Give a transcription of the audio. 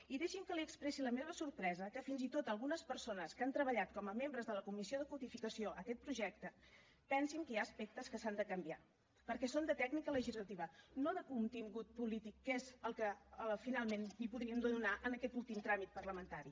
i deixi’m que li expressi la meva sorpresa que fins i tot algunes persones que han treballat com a membres de la comissió de codificació aquest projecte pensin que hi ha aspectes que s’han de canviar perquè són de tècnica legislativa no de contingut polític que és el que finalment hi podríem donar en aquest últim tràmit parlamentari